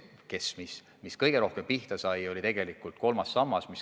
Ma arvan, et kõige rohkem sai tegelikult pihta kolmas sammas.